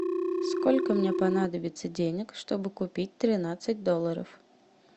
сколько мне понадобится денег чтобы купить тринадцать долларов